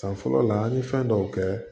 San fɔlɔ la an ye fɛn dɔw kɛ